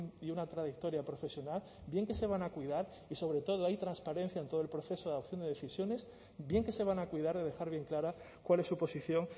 y una trayectoria profesional bien que se van a cuidar y sobre todo hay transparencia en todo el proceso de adopción de decisiones bien que se van a cuidar de dejar bien clara cuál es su posición